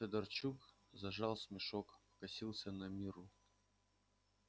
федорчук зажал смешок покосился на мирру